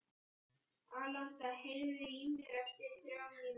Alanta, heyrðu í mér eftir þrjár mínútur.